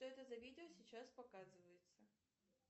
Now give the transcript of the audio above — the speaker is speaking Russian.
что это за видео сейчас показывается